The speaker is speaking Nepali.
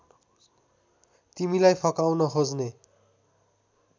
तिमीलाई फकाउन खोज्ने